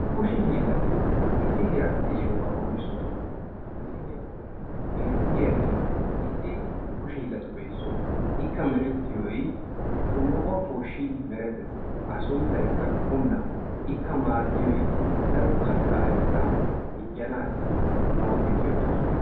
Kushe hiilati issi heerassi de'iya wogaa qonccissosona. Ha misiliya bollan beetiyagee issi kushe hiilatuppe issuwa ikka merettiyoy shomboqquwa pooshin merettees, a sunttay qula ikka maadiyoy daro kattaa ayfeta minjjanaassi nu awati go'ettoosona.